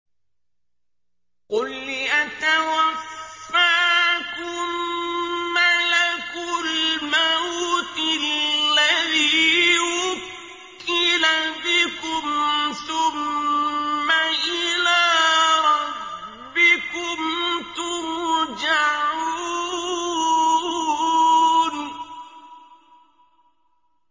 ۞ قُلْ يَتَوَفَّاكُم مَّلَكُ الْمَوْتِ الَّذِي وُكِّلَ بِكُمْ ثُمَّ إِلَىٰ رَبِّكُمْ تُرْجَعُونَ